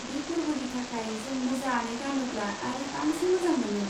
बे फोरबोनि थाखाय जों मोजाङै गानोब्ला आरो बांसिन मोजां मोनो।